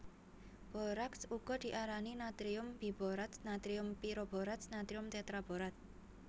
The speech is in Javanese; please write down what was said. Boraks uga diarani natrium biborat natrium piroborat natrium tetraborat